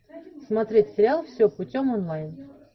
смотреть сериал все путем онлайн